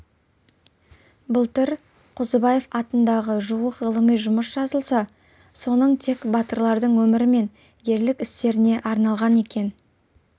былтыр қозыбаев атындағы жуық ғылыми жұмыс жазылса соның тек батырлардың өмірі мен ерлік істеріне арналған екен